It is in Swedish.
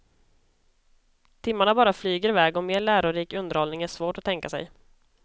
Timmarna bara flyger iväg och mer lärorik underhållning är svårt att tänka sig.